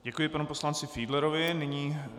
Děkuji panu poslanci Fiedlerovi.